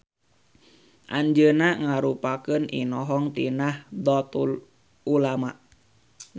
Anjeunna ngarupakeun inohong ti Nahdlatul Ulama.